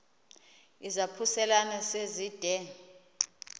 izaphuselana se zide